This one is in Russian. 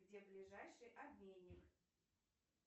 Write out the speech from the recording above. где ближайший обменник